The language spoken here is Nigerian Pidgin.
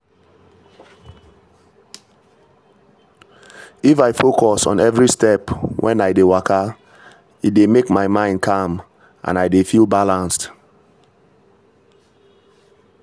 if i focus on every step when i dey waka e dey make my mind calm and i dey feel balanced.